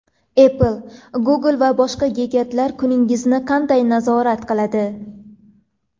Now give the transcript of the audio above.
Apple, Google va boshqa gigantlar kuningizni qanday nazorat qiladi?.